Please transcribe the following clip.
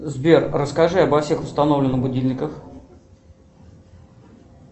сбер расскажи обо всех установленных будильниках